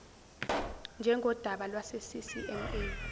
njengodaba lwase ccma